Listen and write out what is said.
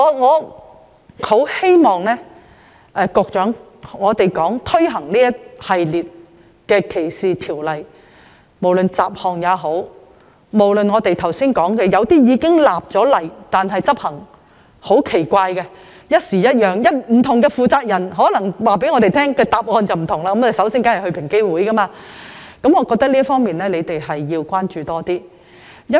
我很希望局長在推行一系列反歧視條例後會多加關注，不論是雜項修訂或是剛才提過執行方式很奇怪的法例，還有處理方式此一時、彼一時，不同的負責人會給予不同的回覆，而大家都會選擇先前往平機會。